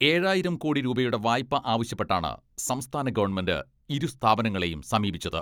ഏഴായിരം കോടി രൂപയുടെ വായ്പ ആവശ്യപ്പെട്ടാണ് സംസ്ഥാന ഗവൺമെന്റ് ഇരു സ്ഥാപനങ്ങളെയും സമീപിച്ചത്.